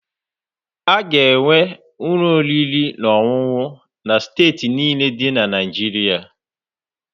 A ga-enwe ụlọ oriri na ọṅụṅụ na steeti niile dị na Naijiria.